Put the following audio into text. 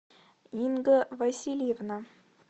инга васильевна